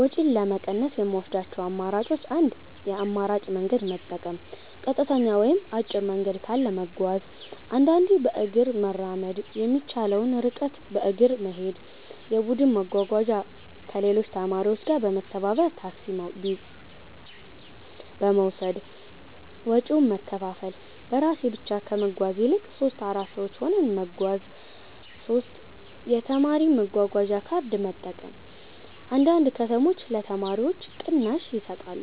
ወጪን ለመቀነስ የምወስዳቸው አማራጮች 1. የአማራጭ መንገድ መጠቀም · ቀጥተኛ ወይም አጭር መንገድ ካለ መጓዝ · አንዳንዴ በእግር መራመድ የሚቻለውን ርቀት በእግር መሄድ 2. የቡድን መጓጓዣ · ከሌሎች ተማሪዎች ጋር በመተባበር ታክሲ ቢወሰድ ወጪውን መከፋፈል · በራሴ ብቻ ከመጓዝ ይልቅ 3-4 ሰዎች ሆነን መጓዝ 3. የተማሪ መጓጓዣ ካርድ መጠቀም · አንዳንድ ከተሞች ለተማሪዎች ቅናሽ ይሰጣሉ